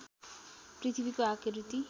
पृथ्वीको आकृति